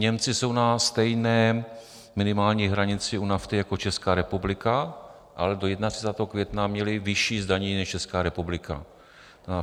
Němci jsou na stejné minimální hranici u nafty jako Česká republika, ale do 31. května měli vyšší zdanění než Česká republika.